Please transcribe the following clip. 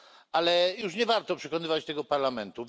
Ale już nie warto przekonywać tego parlamentu.